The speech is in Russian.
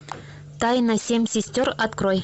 тайна семь сестер открой